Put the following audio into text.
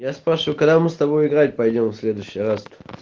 я спрашиваю когда мы с тобой играть пойдём в следующий раз